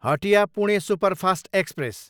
Hatia, Pune superfast express